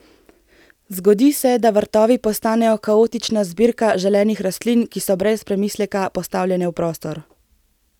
Zgodi se, da vrtovi postanejo kaotična zbirka želenih rastlin, ki so brez premisleka postavljene v prostor.